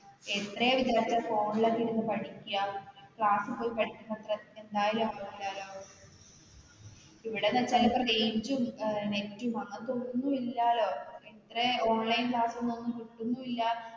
എത്രയെന്നുവച്ച phone ല് നോക്കി പഠിക്കാ. class ല് പോയി പഠികുന്നത്രെയും എന്തായാലും ഇവിടെയിപ്പം range, net ഉം അങ്ങനത്തെയൊന്നുമില്ലല്ലോ പിന്നെ ഇത്രെയും online class കിട്ടുന്നുമില്ല.